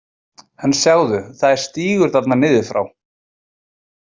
En sjáðu, það er stígur þarna niður frá.